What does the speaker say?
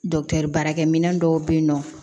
baarakɛ minɛn dɔw bɛ yen nɔ